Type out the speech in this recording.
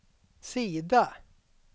sida